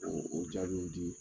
O o jaabiw di.